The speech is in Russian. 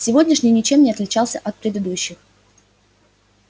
сегодняшний ничем не отличался от предыдущих